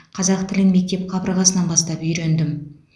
қазақ тілін мектеп қабырғасынан бастап үйрендім